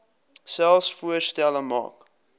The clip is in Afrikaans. selfs voorstelle maak